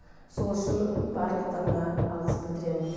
сол үшін барлықтарына алғыс білдіремін